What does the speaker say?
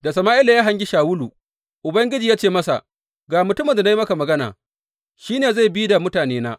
Da Sama’ila ya hangi Shawulu, Ubangiji ya ce masa, Ga mutumin da na yi maka magana, shi ne zai bi da mutanena.